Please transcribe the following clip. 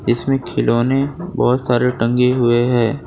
इसमें खिलौने बहोत सारे टंगे हुए हैं।